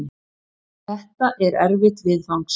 Þetta er erfitt viðfangs.